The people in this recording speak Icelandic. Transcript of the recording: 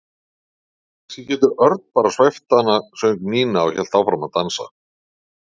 Kannski getur Örn bara svæft hana söng Nína og hélt áfram að dansa.